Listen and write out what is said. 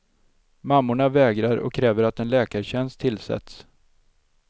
Mammorna vägrar och kräver att en läkartjänst tillsätts.